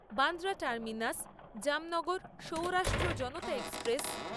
Bandra terminus Jamnagar Saurashtra Janata express